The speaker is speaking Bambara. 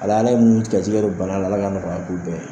Walayi Ala ye munni gɛrisigɛ don banana, Ala ka nɔgɔya k'u bɛɛ ye.